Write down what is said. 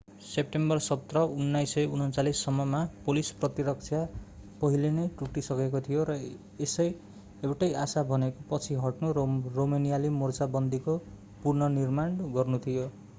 सेम्टेम्बर 17 1939 सम्ममा पोलिस प्रतिरक्षा पहिले नै टुटिसकेको थियो र एउटै आशा भनेको पछि हट्नु र रोमानियाली मोर्चाबन्दीको पुनर्निर्माण गर्नु थियो